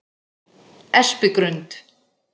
Espigrund